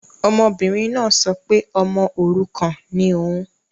Ọmọbìnrin náà sọ pé ọmọ òrukàn ni òun